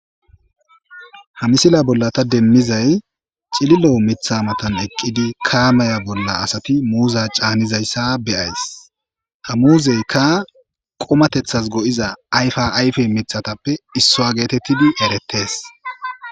ha misila bolla ta demmizay cililo mitha matan eqqidi kaamaya bolla asati muuza caanizayssa beyays ha muuzeyka qomatethas go7iza ayfaayf mithatappe issoa geetettidi eretees